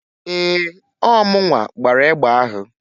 Ee! Ọọ munwa gbara egbe ahụ.